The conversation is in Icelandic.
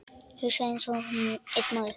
Hugsa einsog einn maður.